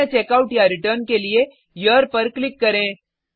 अन्य checkoutरिटर्न के लिए हेरे पर क्लिक करें